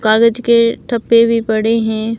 कागज के ठप्पे भी पड़े हैं।